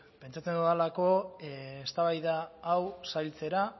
pentsatzen dudalako eztabaida hau zailtzeko